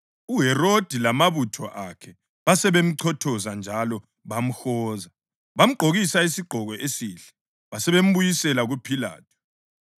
UHerodi lamabutho akhe basebemchothoza njalo bamhoza. Bamgqokisa isigqoko esihle, basebembuyisela kuPhilathu.